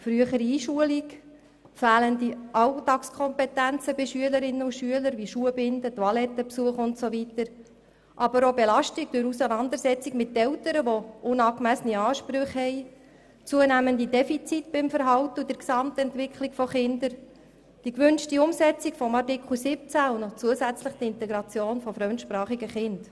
Dazu gehören die frühere Einschulung und die fehlenden Alltagskompetenzen der Kinder wie etwa Schuhe binden, auf die Toilette gehen und so weiter, aber auch die Auseinandersetzung mit Eltern, die unangemessene Ansprüche haben, die zunehmenden Defizite im Verhalten und in der Gesamtentwicklung der Kinder und die Umsetzung des Artikels 17 – Integration und besondere Massnahmen – und zusätzlich die Integration fremdsprachiger Kinder.